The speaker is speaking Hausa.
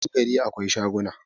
a cikin gari akwai shaguna